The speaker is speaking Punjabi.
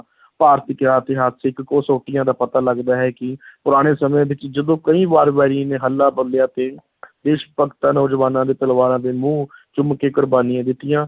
ਇਤਿਹਾਸਕ ਕਸੌਟੀਆਂ ਦਾ ਪਤਾ ਲੱਗਦਾ ਹੈ ਕਿ ਪੁਰਾਣੇ ਸਮੇਂ ਵਿੱਚ ਜਦੋਂ ਕਈ ਵਾਰ ਵੈਰੀ ਨੇ ਹੱਲਾ ਬੋਲਿਆ ਤੇ ਦੇਸ਼ ਭਗਤਾਂ, ਨੌਜਵਾਨਾਂ ਦੇ ਪਰਿਵਾਰਾਂ ਦੇ ਮੂੰਹ ਚੁੰਮ ਕੇ ਕੁਰਬਾਨੀਆਂ ਦਿੱਤੀਆਂ।